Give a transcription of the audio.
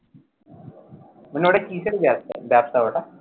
মানে ও টা কিসের ব্যবসা ব্যবসা,